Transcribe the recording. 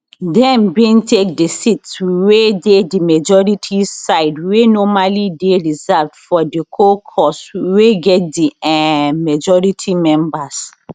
dem bin take di seats wey dey di majority side wey normally dey reserved for di caucus wey get di um majority numbers